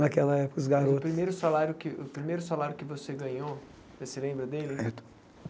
Naquela época, os garotos... O primeiro salário que o primeiro salário que você ganhou, você se lembra dele?